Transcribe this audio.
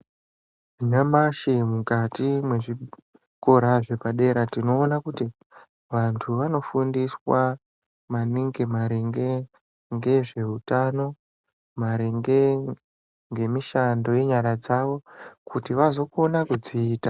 Nyamashi mukati mwezvikora zvepadera tinoona kuti vantu vanofundisa maningi maringe ngezveutano. Maringe ngemishando yenyara dzawo kuti vazokona kudziita.